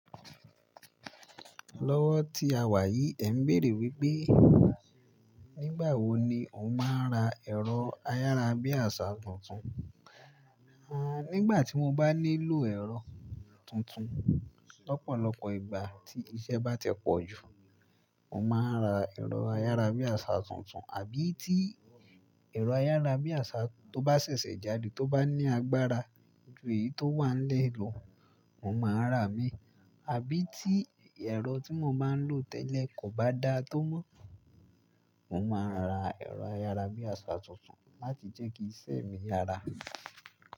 Lọ́wọ́ tí a wà yìí, ẹ ń bèèrè wípé nígbà wo ni òun máa ń ra ẹ̀rọ ayára bí àṣá tuntun. A, nígbà tí mo bá nílò ẹ̀rọ tuntun, lọ́pọ̀lọpọ̀ ìgbà tí iṣẹ́ bá tẹpọ̀ jù, mo máa ń ra ẹ̀rọ ayára bí àṣá tuntun. Àbí tí ẹ̀rọ ayára bí àṣá tó bá ṣẹ̀ṣẹ̀ jáde tó bá ní agbára ju èyí tó wà nílẹ̀ lọ, mo máa rà á mí. Àbí tí ẹ̀rọ tí mo bá ń lò tẹ́lẹ̀ kò bá dáa tó mọ́, mo máa ra ẹ̀rọ ayára bí àṣá tuntun láti jẹ́ kí iṣẹ́ mi yára.